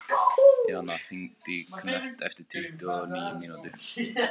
Jana, hringdu í Knött eftir tuttugu og níu mínútur.